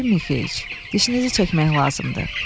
Yefim Mixeiç, dişinizi çəkmək lazımdır.